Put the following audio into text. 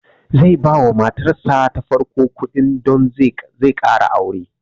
Zai ba wa matar sa ta farko kuɗi don zai ƙara aure